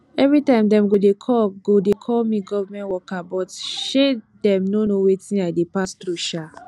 everytime dem go dey call go dey call me government worker but um dem no know wetin i dey pass through um